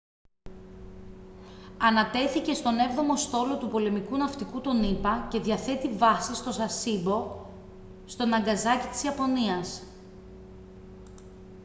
ανατέθηκε στον έβδομο στόλο του πολεμικού ναυτικού των ηπα και διαθέτει βάση στο sasebo στο ναγκασάκι της ιαπωνίας